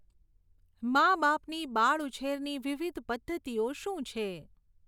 મા બાપની બાળઉછેરની વિવિધ પદ્ધતિઓ શું છે?